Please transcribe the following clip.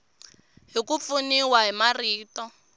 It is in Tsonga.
hi ku pfuniwa hi marito